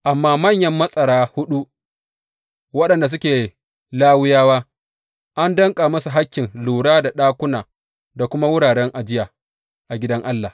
Amma manyan matsara huɗu, waɗanda suke Lawiyawa, an danƙa musu hakkin lura da ɗakuna da kuma wuraren ajiya a gidan Allah.